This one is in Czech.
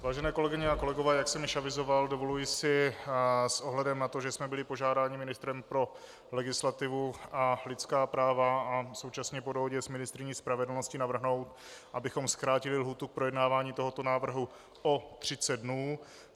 Vážené kolegyně a kolegové, jak jsem již avizoval, dovoluji si s ohledem na to, že jsme byli požádáni ministrem pro legislativu a lidská práva, a současně po dohodě s ministryní spravedlnosti navrhnout, abychom zkrátili lhůtu k projednávání tohoto návrhu o 30 dnů.